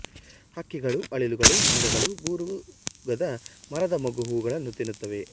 ಹಕ್ಕಿಗಳು ಅಳಿಲುಗಳು ಮಂಗಗಳು ಬೂರುಗದ ಮರದ ಮೊಗ್ಗು ಹೂಗಳನ್ನು ತಿನ್ನುತ್ತವೆ